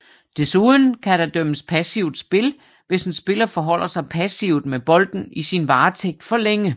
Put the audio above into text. Desuden kan der dømmes passivt spil hvis en spiller forholder sig passivt med bolden i sin varetægt for længe